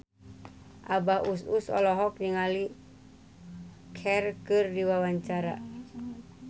Abah Us Us olohok ningali Cher keur diwawancara